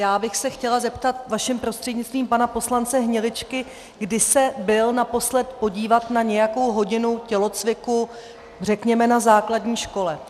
Já bych se chtěla zeptat vaším prostřednictvím pana poslance Hniličky, kdy se byl naposledy podívat na nějakou hodinu tělocviku řekněme na základní škole.